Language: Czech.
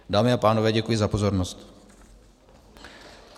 Dámy a pánové, děkuji za pozornost.